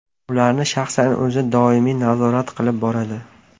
Ularni shaxsan o‘zi doimiy nazorat qilib boradi.